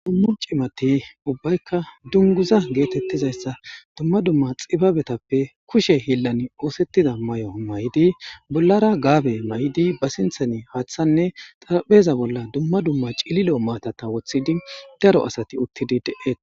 ummon cimati ubbaykka dunguza geetettizayssa dumma dumma xibabetappe kushe hillan oosettida may7o may7idi bollara gaabe may7di ba sinthan haaththanne xarapheza bolla dumma dumma cililo maatata woththidi daro asati uttidi de7et